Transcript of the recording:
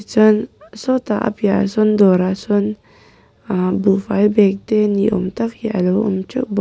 chuan saw tah a piah ah sawn dawrah sawn ahh buhfai bag te niawm tak hi alo awm teuh bawk.